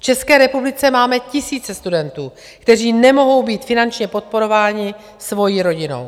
V České republice máme tisíce studentů, kteří nemohou být finančně podporováni svou rodinou.